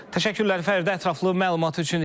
Təşəkkürlər Fəridə ətraflı məlumat üçün.